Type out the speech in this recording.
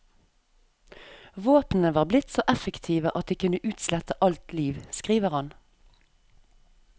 Våpnene var blitt så effektive at de kunne utslette alt liv, skriver han.